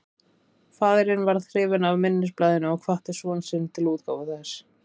Faðirinn varð hrifinn af minnisblaðinu og hvatti son sinn til útgáfu þess.